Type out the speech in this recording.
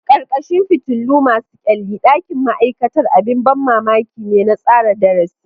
Ƙarƙashin fitilu masu kyalli, ɗakin ma'aikata abin ban mamaki ne na tsara darasi.